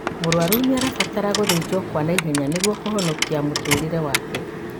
Mũrwaru nĩarabatara gũthĩnjwo kwa naihenya nĩguo kũhonokia mũtũrĩre wake